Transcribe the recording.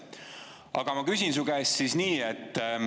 Aga ma küsin su käest nii.